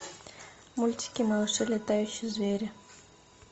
мультики малыши летающие звери